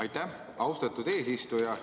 Aitäh, austatud eesistuja!